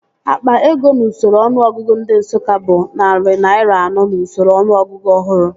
Akpa ego n'usoro ọnụọgụgụ ndị Nsụka bụ narị naira anọ n'usoro ọnụọgụgụ ọhụrụ